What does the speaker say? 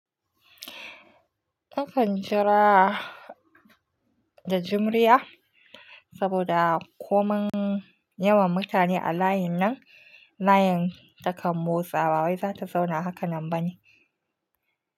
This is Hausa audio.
Akan jira da jimriya, saboda ko man yawan mutane a layin nan layin takan motsawa wai zata zauna haka nan bane.